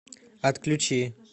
отключи